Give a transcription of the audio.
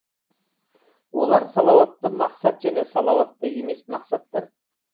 олар салауатты мақсат және салауатты емес мақсаттар